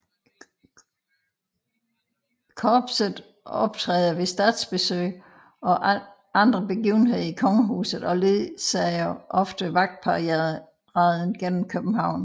Korpset optræder ved statsbesøg og andre begivenheder i kongehuset og ledsager ofte vagtparaden gennem København